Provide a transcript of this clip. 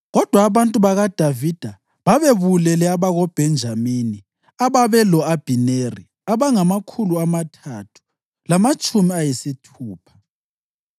Kodwa abantu bakaDavida babebulele abakoBhenjamini ababelo-Abhineri abangamakhulu amathathu lamatshumi ayisithupha.